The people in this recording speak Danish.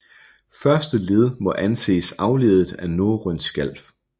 Første led må anses afledet af norrønt Skjalf